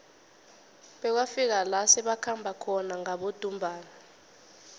bekwafika la sebakhamba khona ngabodumbana